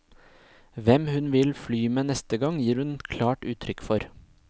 Hvem hun vil fly med neste gang, gir hun klart uttrykk for.